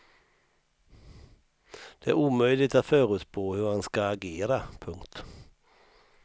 Det är omöjligt att förutspå hur han ska agera. punkt